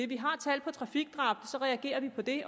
vi har tal på trafikdrab så reagerer vi på det